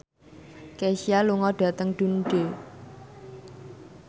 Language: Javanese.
Kesha lunga dhateng Dundee